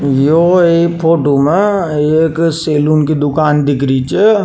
यो एक फोटो मे एक सैलून की दूकान दिखरी छ।